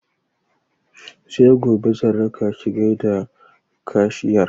Sai gobe zan raka ki gaida kashiyar